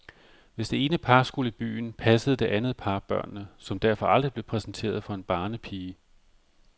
Hvis det ene par skulle i byen, passede det andet par børnene, som derfor aldrig blev præsenteret for en barnepige.